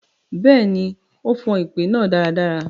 Bẹẹni, o fan ipè naa daradara.